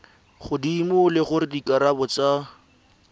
godimo le gore dikarabo tsa